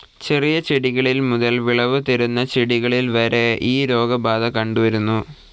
ചെറിയ ചെടികളിൽ മുതൽ വിളവ് തരുന്ന ചെടികളിൽ വരെ ഈ രോഗബാധ കണ്ടു വരുന്നു.